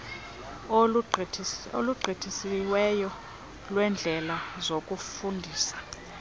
olungisiweyo weendlela zokufundisa